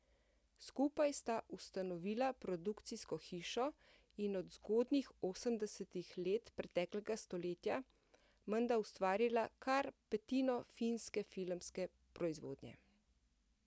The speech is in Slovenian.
Skupaj sta ustanovila produkcijsko hišo in od zgodnjih osemdesetih let preteklega stoletja menda ustvarila kar petino finske filmske proizvodnje.